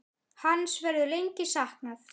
Hans verður lengi saknað.